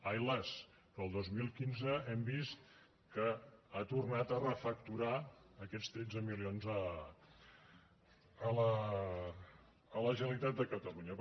ai las que el dos mil quinze hem vist que ha tornat a refacturar aquells tretze milions a la generalitat de catalunya